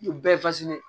U bɛɛ